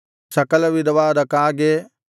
ಸಕಲವಿಧವಾದ ಕಾಗೆ